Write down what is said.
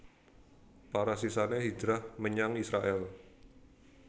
Para sisané hijrah menyang Israèl